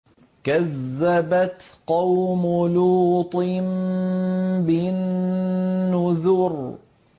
كَذَّبَتْ قَوْمُ لُوطٍ بِالنُّذُرِ